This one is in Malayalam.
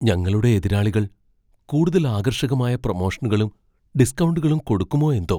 ഞങ്ങളുടെ എതിരാളികൾ കൂടുതൽ ആകർഷകമായ പ്രമോഷനുകളും, ഡിസ്കൗണ്ടുകളും കൊടുക്കുമോ എന്തോ!